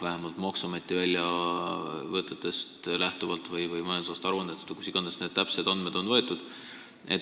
Vähemalt nii on deklareeritud – maksuameti väljavõtetest, majandusaasta aruannetest või kust tahes on need täpsed andmed võetud.